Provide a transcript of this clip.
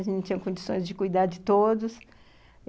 A gente não tinha condições de cuidar de todos.